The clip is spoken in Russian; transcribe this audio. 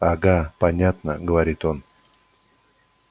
ага понятно говорит он